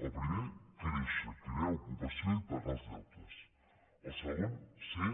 el primer créixer crear ocupació i pagar els deutes el segon ser